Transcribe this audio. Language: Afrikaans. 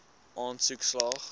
aansoek slaag